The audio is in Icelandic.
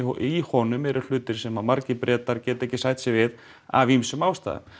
í honum eru hlutar sem margir Bretar geta ekki sætt sig við af ýmsum ástæðum